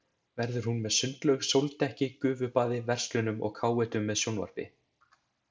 Verður hún með sundlaug, sóldekki, gufubaði, verslunum og káetum með sjónvarpi.